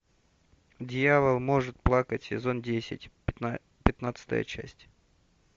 дьявол может плакать сезон десять пятнадцатая часть